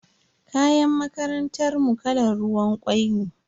Kayan makarantar mu kalan ruwan kwai ne.